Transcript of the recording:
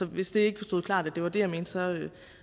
hvis det ikke stod klart at det var det jeg mente